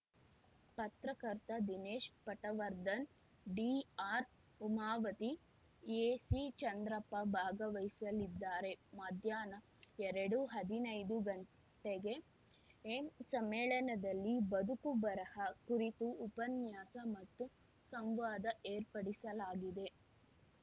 ಪತ್ರಕರ್ತ Dinesh Patwardhan D R Umavathi A C Chandrappa ಭಾಗವಹಿಸಲಿದ್ದಾರೆ ಮಧ್ಯಾಹ್ನ ಎರಡು ಹದಿನೈದು ಗಂಟೆಗೆ ಏನ್ ಸಮ್ಮೇಳನದಲ್ಲಿ ಬದುಕು ಬರಹ ಕುರಿತು ಉಪನ್ಯಾಸ ಮತ್ತು ಸಂವಾದ ಏರ್ಪಡಿಸಲಾಗಿದೆ